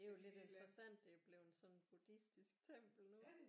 Det er jo lidt interessant det er blevet sådan en buddhistisk tempel nu